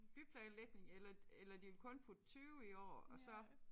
Byplanlægning eller eller de vil kun putte 20 i år og så